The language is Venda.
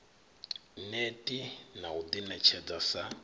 neti na u ḓiṋetshedza sa